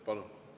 Palun!